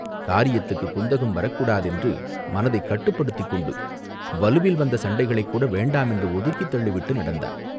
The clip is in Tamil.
காரியத்துக்குத் குந்தகம் வரக்கூடாதென்று மனத்தைக் கட்டுப்படுத்திக் கொண்டு வலுவில் வந்த சண்டைகளைக்கூட வேண்டாம் என்று ஒதுக்கித் தள்ளிவிட்டு நடந்தான்.